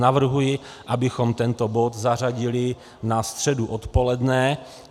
Navrhuji, abychom tento bod zařadili na středu odpoledne.